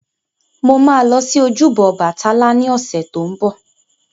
Mo ma lọ sí ojúbọ Ọbàtálá ní ọ̀sẹ̀ tó ń bọ̀